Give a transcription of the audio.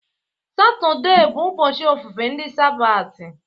Satọde bụ ụbọchị ofufe ndị sabati.